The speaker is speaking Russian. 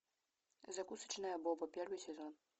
закусочная боба первый сезон